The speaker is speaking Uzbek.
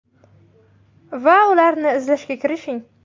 Va ularni izlashga kirishing.